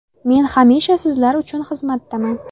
Men hamisha sizlar uchun xizmatdaman.